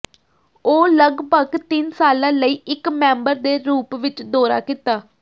ਉਹ ਲਗਭਗ ਤਿੰਨ ਸਾਲਾਂ ਲਈ ਇੱਕ ਮੈਂਬਰ ਦੇ ਰੂਪ ਵਿੱਚ ਦੌਰਾ ਕੀਤਾ